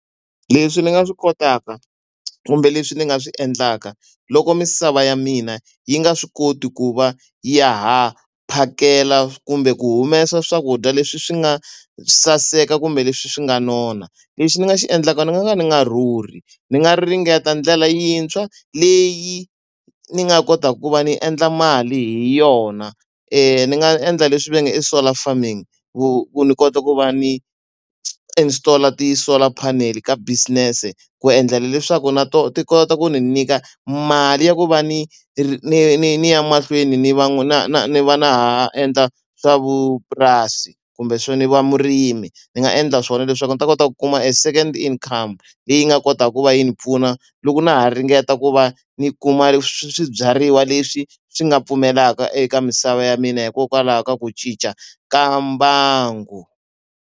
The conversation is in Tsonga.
Leswi ni nga swi kotaka kumbe leswi ni nga swi endlaka loko misava ya mina yi nga swi koti ku va ya ha phakela kumbe ku humesa swakudya leswi swi nga saseka kumbe leswi swi nga nona. Lexi ni nga xi endlaka ni nga ka ndzi nga rhurhi, ndzi nga ringeta ndlela yintshwa leyi ni nga kotaka ku va ni endla mali hi yona. Ni nga endla leswi va nge i solar farming, ku ku ni kota ku va ni installer ti-solar panel ka business, ku endlela leswaku na tona ti kota ku ndzi nyika mali ya ku va ni ni ni ni ni ya mahlweni ni na na ni va na ha endla swa vupurasi kumbe ni va murimi. Ndzi nga endla swona leswaku ndzi ta kota ku kuma a second income leyi nga kotaka ku va yi ni pfuna loko na ha ringeta ku va ni kuma swibyariwa leswi swi nga pfumelaka eka misava ya mina hikokwalaho ka ku cinca ka mbangu.